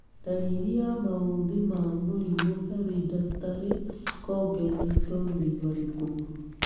Ndariri na maũthĩ ma mũrimũ Hereditary congenital nĩ marikũ?